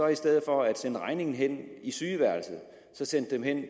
i stedet for at sende regningen hen i sygeværelset sendte den hen